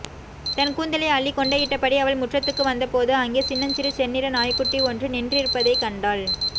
தன் கூந்தலை அள்ளி கொண்டையிட்டபடி அவள் முற்றத்துக்கு வந்தபோது அங்கே சின்னஞ்சிறு செந்நிற நாய்க்குட்டி ஒன்று நின்றிருப்பதைக் கண்டாள்